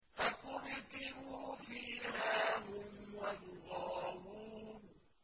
فَكُبْكِبُوا فِيهَا هُمْ وَالْغَاوُونَ